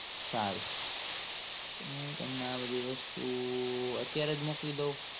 સારું હું તમને આ બધી વસ્તુ અત્યારે જ મોકલી દવ